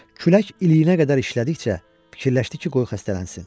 Külək iliyinə qədər işlədikcə fikirləşdi ki, qoy xəstələnsin.